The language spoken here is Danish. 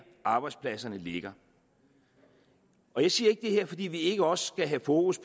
arbejdspladserne ligger jeg siger ikke det her fordi vi ikke også skal have fokus